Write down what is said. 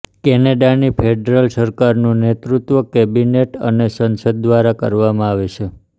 કેનેડાની federal સરકારનું નેતૃત્વ cabinet અને સંસદ દ્વારા કરવામાં આવે છે